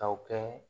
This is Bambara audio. Kaw kɛ